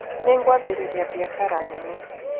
Nĩngwambĩrĩria biacara nene.